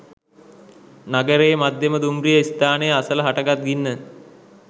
නගරයේ මධ්‍යම දුම්රිය ස්ථානය අසල හටගත් ගින්න